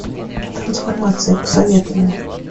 трансформация посоветуй мне